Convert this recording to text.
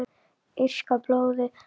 Írska blóðið?